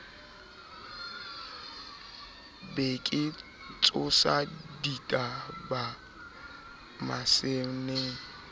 be ke tsosa dibata masene